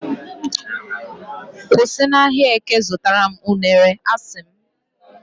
kwụsị na ahịa eke zụtara m unere, a sị m